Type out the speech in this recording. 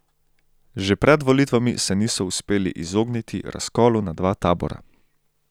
Že pred volitvami se niso uspeli izogniti razkolu na dva tabora.